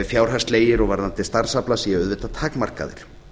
fjárhagslegir og varðandi starfsafla séu auðvitað takmarkaðir